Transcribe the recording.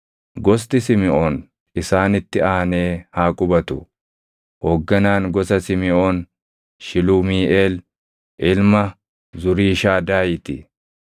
Gosti Simiʼoon isaanitti aanee haa qubatu. Hoogganaan gosa Simiʼoon Shilumiiʼeel ilma Zuriishadaayii ti.